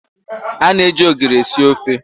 A na eji ogiri esi ofe.